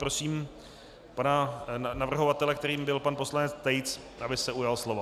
Prosím pana navrhovatele, kterým byl pan poslanec Tejc, aby se ujal slova.